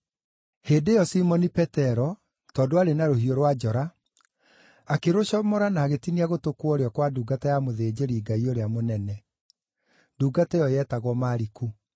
Hĩndĩ ĩyo Simoni Petero, tondũ aarĩ na rũhiũ rwa njora, akĩrũcomora na agĩtinia gũtũ kwa ũrĩo kwa ndungata ya mũthĩnjĩri-Ngai ũrĩa mũnene. (Ndungata ĩyo yetagwo Maliku.)